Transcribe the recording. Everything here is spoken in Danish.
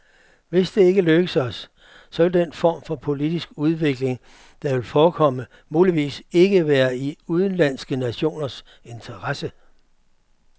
Hvis det ikke lykkes os, så vil den form for politisk udvikling, der vil forekomme, muligvis ikke være i udenlandske nationers interesse.